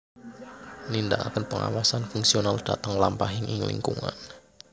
Nindakaken pengawasan fungsional dhateng lampahing ing lingkungan